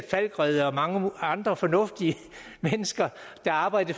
falckreddere og mange andre fornuftige mennesker der arbejder